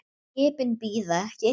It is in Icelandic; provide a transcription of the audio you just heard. Skipin bíða ekki.